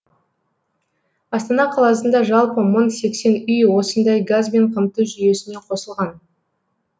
астана қаласында жалпы мың сексен үй осындай газбен қамту жүйесіне қосылған